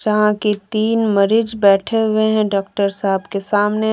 जहां की तीन मरीज बैठे हुए हैं डॉक्टर साहब के सामने --